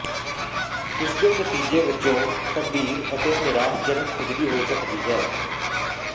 ਇਸਦੇ ਨਤੀਜੇ ਵਜੋਂ ਗੰਭੀਰ ਅਤੇ ਨਿਰਾਸ਼ਾਜਨਕ ਖੁਜਲੀ ਹੋ ਸਕਦੀ ਹੈ